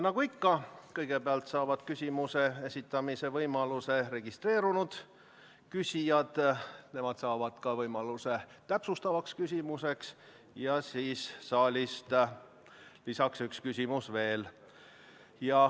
Nagu ikka, kõigepealt saavad küsimuse esitamise võimaluse registreerunud küsijad, nemad saavad ka võimaluse täpsustav küsimus esitada ja siis on saalist üks küsimus veel.